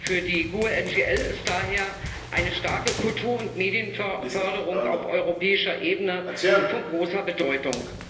Für die GUE NGL ist daher eine starke Kultur und Medienförderung auf europäischer Ebene von großer Bedeutung.